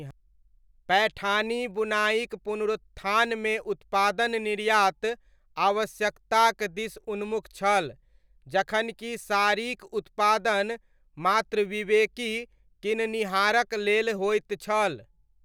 पैठानी बुनाइक पुनरुत्थानमे उत्पादन निर्यात आवश्यकताक दिस उन्मुख छल, जखन कि साड़ीक उत्पादन मात्र विवेकी किननिहारक लेल होइत छल।